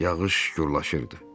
Yağış gurlaşırdı.